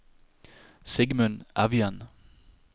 Sigmund Evjen